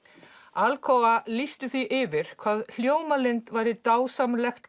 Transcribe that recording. Alcoa lýsti því yfir hvað Hljómalind væri dásamlegt